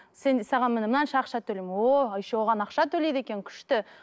саған міні мынанша ақша төлеймін ооо еще оған ақша төлейді екен күшті